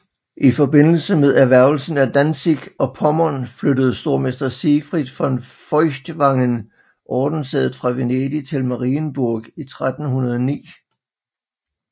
I forbindelse med erhvervelsen af Danzig og Pommern flyttede stormester Siegfried von Feuchtwangen ordenssædet fra Venedig til Marienburg i 1309